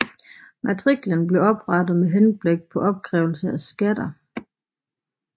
Matriklen blev oprettet med henblik på opkrævelse af skatter